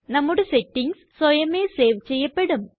നമ്മുടെ സെറ്റിംഗ്സ് സ്വയമേ സേവ് ചെയ്യപ്പെടും